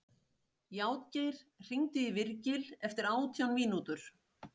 Játgeir, hringdu í Virgil eftir átján mínútur.